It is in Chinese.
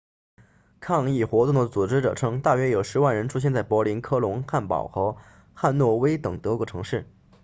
抗议活动的组织者称大约有10万人出现在柏林科隆汉堡和汉诺威等德国城市